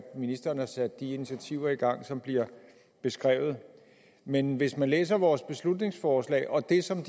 ministeren har sat de initiativer i gang som bliver beskrevet men hvis man læser vores beslutningsforslag og det som